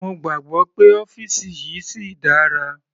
Mo gbàgbọ́ pé ọ́fìsì yìí síi dára.